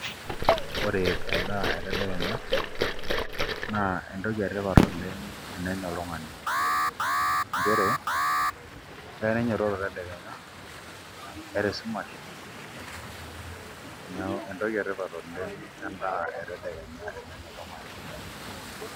Ore endaa etedekenya na entoki etipat oleng tenenya oltung'ani nchere keya nainyototo tedekenya eiata esumash neaku entoki etipat oleng entoki e tedekenya tenenya oltung'ani